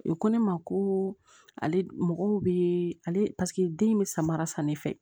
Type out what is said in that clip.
U ko ne ma ko ale paseke den in bɛ samara san ne fɛ